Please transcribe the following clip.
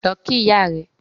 Lọ kí ìyá rẹ̀